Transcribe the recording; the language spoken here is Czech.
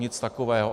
Nic takového.